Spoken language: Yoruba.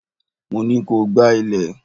Mo ní ko gbá ilé!